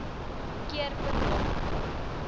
keer per maand